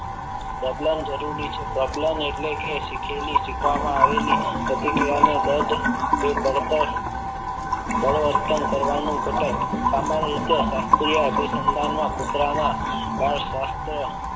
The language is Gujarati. પ્રબલન જરૂરી છે પ્રબલાન એટલે કે શીખેલી શીખવામાં આવેલી પ્રતિક્રિયાને દર્દ કે બઢત બળવર્તન કરવાનું ઘટક સામાન્ય રીતે શાસ્ત્રીય અધિસંધાનમાં કુતરાના